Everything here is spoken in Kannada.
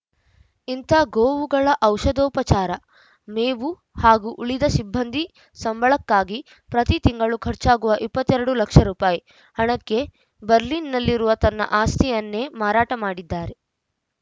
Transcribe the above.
ಇಂಥ ಗೋವುಗಳ ಔಷಧೋಪಚಾರ ಮೇವು ಹಾಗೂ ಉಳಿದ ಸಿಬ್ಬಂದಿ ಸಂಬಳಕ್ಕಾಗಿ ಪ್ರತಿ ತಿಂಗಳು ಖರ್ಚಾಗುವ ಇಪ್ಪತ್ತ್ ಎರಡು ಲಕ್ಷ ರೂಪಾಯಿ ಹಣಕ್ಕೆ ಬರ್ಲಿನ್‌ನಲ್ಲಿರುವ ತನ್ನ ಆಸ್ತಿಯನ್ನೇ ಮಾರಾಟ ಮಾಡಿದ್ದಾರೆ